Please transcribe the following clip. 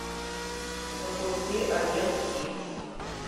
запусти агент икс